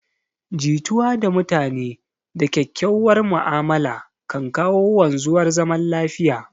Jituwa da mutane da kyakkyauwar ma'amala kan kawo wanzuwar zaman lafiya